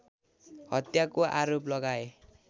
हत्याको आरोप लगाए